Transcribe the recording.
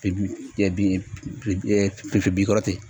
Pe pe pɛ bin kɔrɔ ten